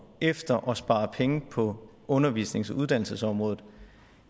efter at spare penge på undervisnings og uddannelsesområdet